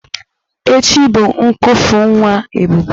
Echi bụ ñnkufu nwa Ebube.